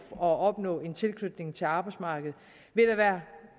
at opnå en tilknytning til arbejdsmarkedet vil der være